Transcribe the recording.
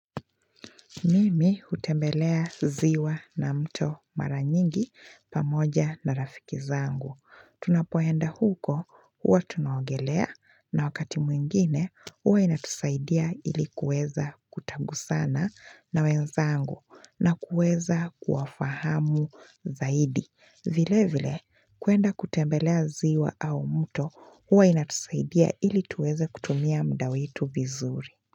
Mimi nimewahi kutembelea ziwa na mto mara nyingi pamoja na rafiki zangu. Tunapohenda huko, huwa tunaogelea na wakati mwingine, huwa inatusaidia ili kuweza kutangusana na wenzangu na kuweza kuafahamu zaidi. Vile vile, kwenda kutembelea ziwa au mto, huwa inatusaidia ili tuweze kutumia mda wetu vizuri.